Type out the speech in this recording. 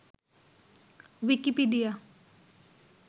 Wikipedia